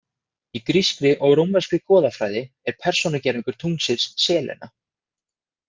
Í grískri og rómverskri goðafræði er persónugervingur tunglsins Selena.